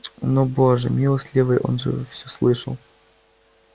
но боже милостивый он же всё слышал